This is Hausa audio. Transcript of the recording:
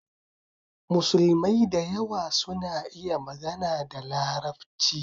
Musulmai da yawa suna iya magana da Larabci